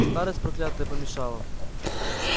старость проклятая помешала